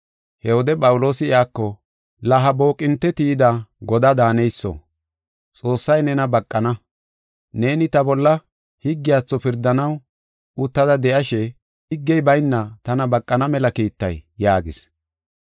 He wode Phawuloosi iyako, “La ha booqinte tiyida godaa daaneyso, Xoossay nena baqana. Neeni ta bolla higgiyatho pirdanaw uttada de7ashe higgey bayna tana baqana mela kiitay?” yaagis.